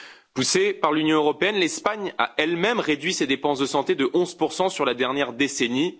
Poussée par l'Union européenne, l'Espagne a elle même réduit ses dépenses de santé de 11 sur la dernière décennie.